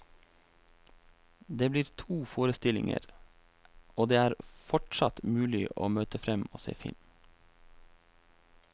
Det blir to forestillinger, og det er fortsatt mulig å møte frem og se film.